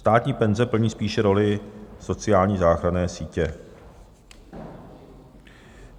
Státní penze plní spíše roli sociální záchranné sítě.